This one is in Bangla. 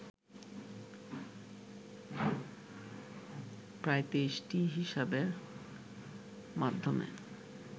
প্রায় ২৩টি হিসাবের মাধ্যমে